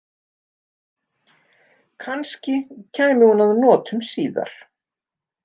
Kannski kæmi hún að notum síðar.